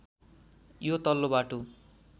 यो तल्लो बाटो